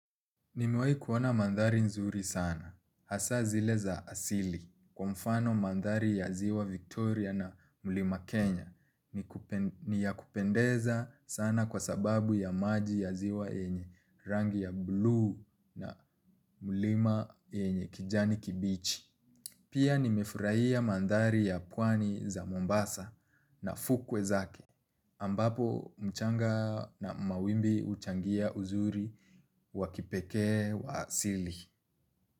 Nimewahi kuona mandhari nzuri sana. Hasaa zile za asili. Kwa mfano mandari ya ziwa Victoria na Mlima Kenya ni ya kupendeza sana kwa sababu ya maji ya ziwa yenye rangi ya blue na Mlima yenye kijani kibichi. Pia nimefurahia mandhari ya pwani za Mombasa na fukwe zake ambapo mchanga na mawimbi huchangia uzuri wa kipekee wa asili.